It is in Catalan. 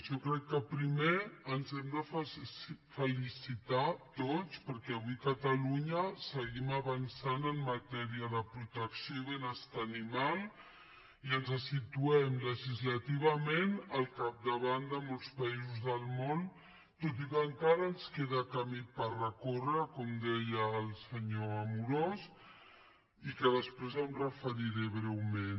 jo crec que primer ens hem de felicitar tots perquè avui a catalunya seguim avançant en matèria de protecció i benestar animal i ens situem legislativament al capdavant de molts països del món tot i que encara ens queda camí per recórrer com deia el senyor amorós i que després m’hi referiré breument